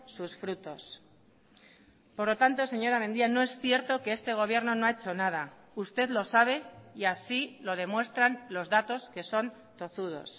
sus frutos por lo tanto señora mendia no es cierto que este gobierno no ha hecho nada usted lo sabe y así lo demuestran los datos que son tozudos